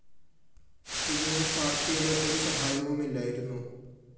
ഇതിന് പാര്‍ട്ടിയുടെ ഒരു സഹായവുമില്ലായിരുന്നു